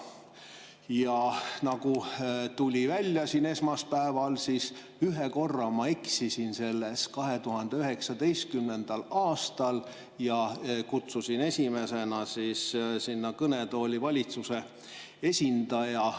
Ja nagu siin esmaspäeval välja tuli, ühe korra ma eksisin selles 2019. aastal ja kutsusin esimesena kõnetooli valitsuse esindaja.